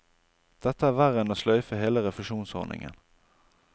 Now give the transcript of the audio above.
Dette er verre enn å sløyfe hele refusjonsordningen.